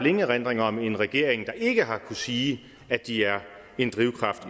ingen erindringer om en regering der ikke har kunnet sige at de er en drivkraft